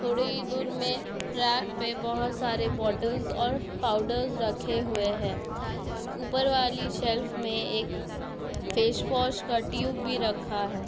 थोड़ी दूर में रैक पे बहुत सारे बॉटल्स और पाउडर रखे हुए हैं ऊपर वाली शेल्फ में एक फेसवॉश का ट्यूब भी रखा है।